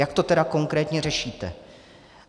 Jak to tedy konkrétně řešíte?